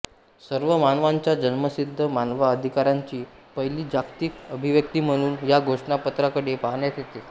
सर्व मानवांच्या जन्मसिद्ध मानवाअधिकारांची पहिली जागतिक अभिव्यक्ती म्हणून या घोषणापत्राकडे पाहण्यात येते